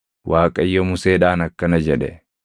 Waaqayyo Museedhaan akkana jedhe;